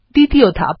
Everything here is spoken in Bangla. দ্বিতীয় ধাপ